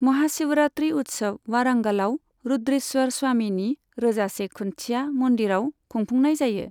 महाशिवरात्रि उत्सव वारंगलआव रुद्रेश्वर स्वामीनि रोजासे खुन्थिया मन्दिरआव खुंफुंनाय जायो।